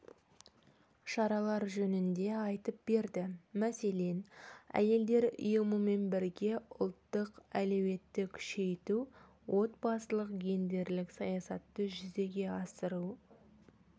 шаралар жөнінде айтып берді мәселен әйелдер ұйымымен бірге ұлттық әлеуетті күшейту отбасылық-гендерлік саясатты жүзеге асыру